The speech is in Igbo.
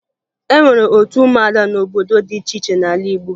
E nwere otu ụmụada n'obodo dị iche iche n'ala Igbo